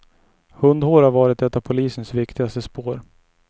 Hundhår har varit ett av polisens viktigaste spår.